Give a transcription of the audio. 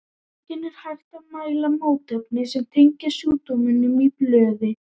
Einnig er hægt að mæla mótefni sem tengjast sjúkdómnum í blóði.